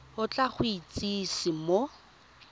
o tla go itsise mo